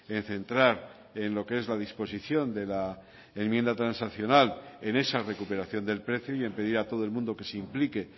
en centrar en lo que es la disposición de la enmienda transaccional en esa recuperación del precio y en pedir a todo el mundo que se implique